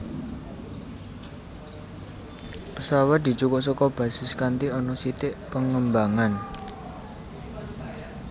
Pesawat dijukuk saka basis kanti ana sithik pengembangan